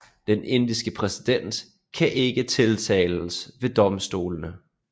Den indiske præsident kan ikke tiltales ved domstolene